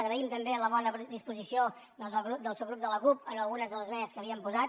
agraïm també la bona disposició doncs del subgrup de la cup en algunes de les esmenes que havíem posat